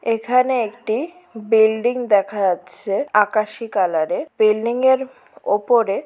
এখানে একটি বিল্ডিং দেখা যাচ্ছে আকাশী কালার -এর। বিল্ডিং -এর ওপরে --